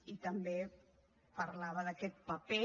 i també parlava d’aquest paper